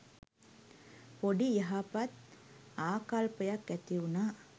පොඩි යහපත් ආකල්පයක් ඇති වුනා.